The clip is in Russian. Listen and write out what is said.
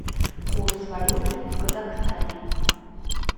курс валюты в казахстане